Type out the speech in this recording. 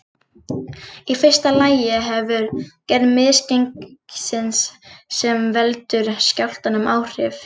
Í fyrsta lagi hefur gerð misgengisins sem veldur skjálftanum áhrif.